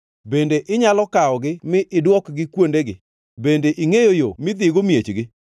Bende inyalo kawogi mi idwokgi kuondegi? Bende ingʼeyo yo midhigo miechgi?